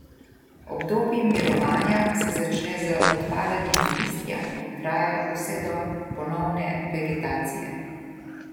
Obdobje mirovanja se začne z odpadanjem listja in traja vse do ponovne vegetacije.